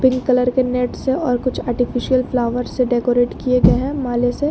pink colour के net से और कुछ आर्टिफिशियल फ्लावर से डेकोरेट किए गए है माले से--